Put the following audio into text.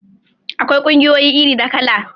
Akwai ƙungiyoyi iri da kala